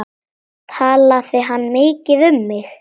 Talaði hann mikið um mig?